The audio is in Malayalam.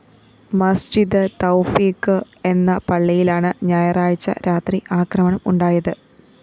മസ്ജിദ് തൗഫീക്ക് എന്ന പള്ളിയിലാണ് ഞായറാഴ്ച രാത്രി ആക്രമണം ഉണ്ടായത്